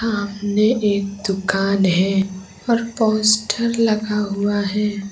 सामने एक दुकान है और पोस्टर लगा हुआ है।